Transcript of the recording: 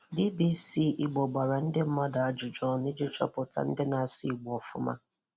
BBC Ìgbò gbàrà ndị mmadụ ajụjụ ònụ iji chọpụtà ndị na-asụ Ìgbò ọ̀fụ̀ma.